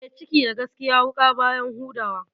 E, ciki da gaskiya wuƙa baya huda wa.